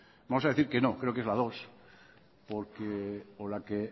vamos a decir que no creo que es la dos porque o la que